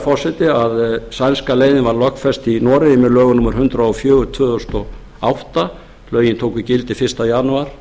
forseti að sænska leiðin var lögfest í noregi með lögum númer hundrað og fjögur tvö þúsund og átta lögin tóku gildi fyrsta janúar